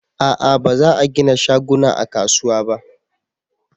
a'a ba za a gina shaguna a kasuwa ba